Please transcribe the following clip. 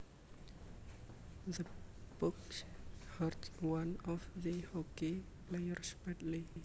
The puck hurt one of the hockey players badly